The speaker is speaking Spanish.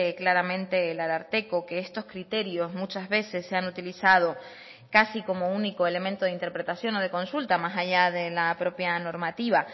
claramente el ararteko que estos criterios muchas veces se han utilizado casi como único elemento de interpretación o de consulta más allá de la propia normativa